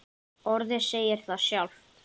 Orðið segir það sjálft.